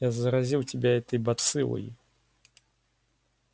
я заразил тебя этой бациллой